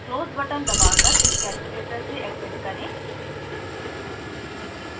close button दबाकर इस calculator से exit करें